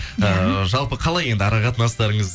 эээ жалпы қалай енді ара қатынастарыңыз